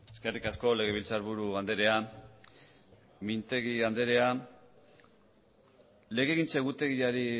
eskerrik asko legebiltzarburu andrea mintegi andrea legegintza egutegiari